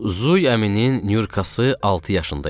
Zuy əminin Nyurkası altı yaşında idi.